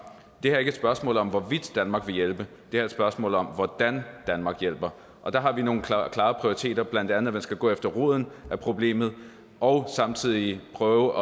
er ikke et spørgsmål om hvorvidt danmark vil hjælpe det er et spørgsmål om hvordan danmark hjælper og der har vi nogle klare klare prioriteter blandt andet at man skal gå efter roden af problemet og samtidig prøve